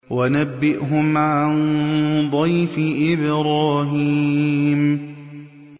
وَنَبِّئْهُمْ عَن ضَيْفِ إِبْرَاهِيمَ